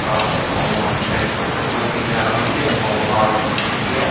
किताब आगा मे राख के फोटो खींचा रहल ये मोवार लिखल ये।